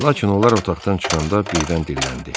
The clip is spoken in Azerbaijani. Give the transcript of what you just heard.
Lakin onlar otaqdan çıxanda birdən dilləndi.